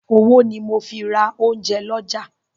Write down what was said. Owó ni mo ń fi ra oúnjẹ lọ́jà.